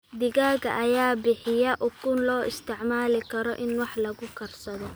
Digaagga ayaa bixiya ukun loo isticmaali karo in wax lagu karsado.